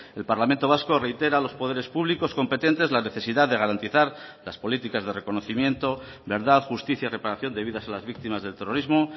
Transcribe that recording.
el parlamento vasco reitera a los poderes públicos competentes la necesidad de garantizar las políticas de reconocimiento verdad justicia y reparación de vidas a las víctimas del terrorismo